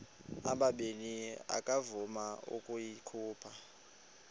ubabini akavuma ukuyikhupha